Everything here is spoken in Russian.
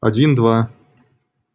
один два